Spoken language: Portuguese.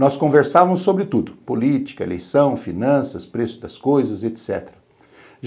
Nós conversávamos sobre tudo, política, eleição, finanças, preço das coisas, etc.